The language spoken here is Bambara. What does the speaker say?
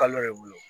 Kalo le bolo